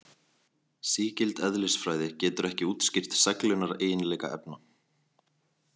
Sígild eðlisfræði getur ekki útskýrt seglunareiginleika efna.